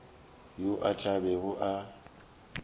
yo a tla bego a